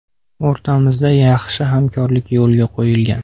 O‘rtamizda yaxshi hamkorlik yo‘lga qo‘yilgan.